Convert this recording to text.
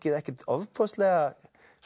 ekkert ofboðslega